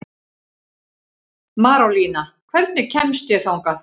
Marólína, hvernig kemst ég þangað?